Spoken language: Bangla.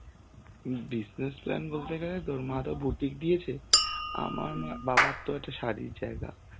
হম business plan বলতে গেলে তোর মা তো বুটিক দিয়েছে. আমার মা~ বাবার তো একটা শাড়ির জায়গা,